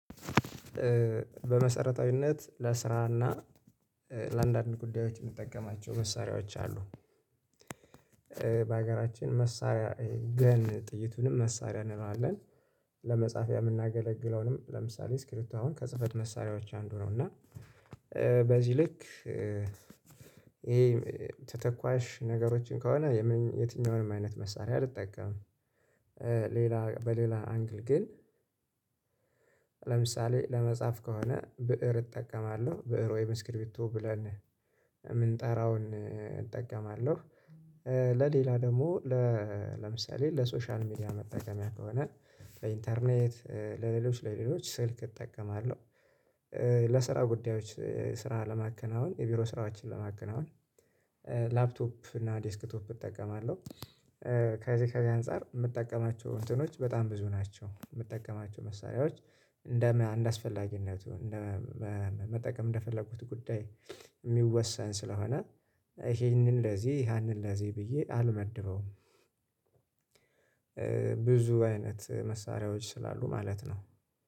በመሰረታዊነት ለስራና ለአንዳንድ ጉዳዮች የምጠቀማቸው መሳሪያዎች አሉ። በሀገራችን መሳሪያ ግን ጥይቱንም መሳሪያ እንለዋለን። ለመጻፍ የምናገለግለውንም ለምሳሌ ስክሪብቶ አሁን ከጽህፈት መሳሪያዎች አንዱ ነው እና በዚህ ልክ ይሄ ተተኳሽ ነገሮችን ከሆነ የትኛውንም አይነት መሳሪያ አልጠቀምም። ሌላ በሌላ አንግል ግን ለምሳሌ ለመጻፍ ከሆነ ብእር እጠቀማለሁ ብእር ወይም እስክሪፕቱቶ ብለን የምንጠራውን እጠቀማለሁ። ለሌላ ደግሞ ለምሳሌ ለሶሻል ሚዲያ መጠቀሚያ ከሆነ ለኢንተርኔት ለሌሎች ለሌሎች ስልክ እጠቀማለሁ። ለስራ ጉዳዮች ስራ ለማከናወን የቢሮ ስራዎችን ለማከናወን ላፕቶፕ እና ዴስክቶፕ እጠቀማለሁ። ከዚህ ከዚህ አንፃር የምጠቀማቸው እንትኖች በጣም ብዙ ናቸው የምጠቀማቸው መሳሪያዎች። እንደ አንድ አስፈላጊነቱ መጠቀም እንደፈለጉት ጉዳይ የሚወሳን ስለሆነ ይሄንን ለዚህ ያንን ለዚህ ብዬ አልመድበውም። ብዙ አይነት መሳሪያዎች ስላሉ ማለት ነው